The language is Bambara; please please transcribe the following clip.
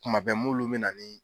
Kuma bɛ m'olu bɛ na nin